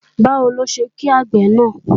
Báwo ló ṣe kí àgbè náà?